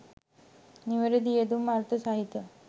නිවැරැදි යෙදුම් අර්ථ සහිතව